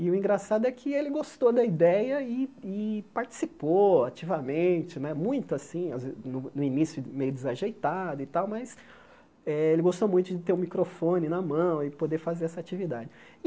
E o engraçado é que ele gostou da ideia e e participou ativamente né, muito assim às ve, no início meio desajeitado e tal, mas eh ele gostou muito de ter o microfone na mão e poder fazer essa atividade.